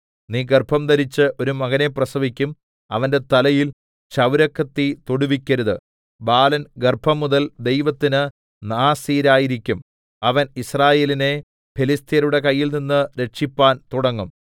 നീ ഗർഭംധരിച്ച് ഒരു മകനെ പ്രസവിക്കും അവന്റെ തലയിൽ ക്ഷൗരക്കത്തി തൊടുവിക്കരുത് ബാലൻ ഗർഭംമുതൽ ദൈവത്തിന് നാസീരായിരിക്കും അവൻ യിസ്രായേലിനെ ഫെലിസ്ത്യരുടെ കയ്യിൽനിന്ന് രക്ഷിപ്പാൻ തുടങ്ങും